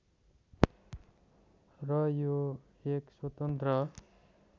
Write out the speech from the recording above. र यो एक स्वतन्त्र